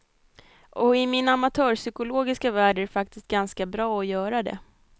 Och i min amatörpsykologiska värld är det faktiskt ganska bra att göra det.